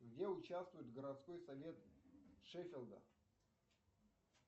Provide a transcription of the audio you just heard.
где участвует городской совет шеффилда